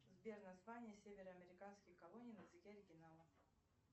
сбер название северо американских колоний на языке оригинала